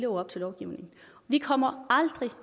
op til lovgivningen vi kommer aldrig